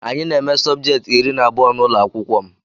Anyị na eme subjecti iri na abụọ n'ụlọakwụkwọ m.